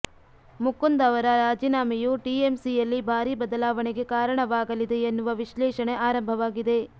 ಮುಕುಂದ್ ಅವರ ರಾಜೀನಾಮೆಯು ಟಿಎಂಸಿಯಲ್ಲಿ ಭಾರೀ ಬದಲವಾಣೆಗೆ ಕಾರಣವಾಗಲಿದೆ ಎನ್ನುವ ವಿಶ್ಲೇಷಣೆ ಆರಂಭವಾಗಿದೆ